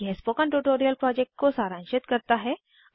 यह spoken tutorial project को सारांशित करता है